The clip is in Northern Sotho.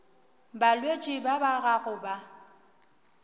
balwetši ba ba gago ba